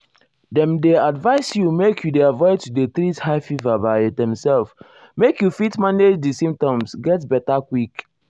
dem dey advise you make you dey avoid to dey treat high fever by demself make you fit manage um di symptoms get beta um quick.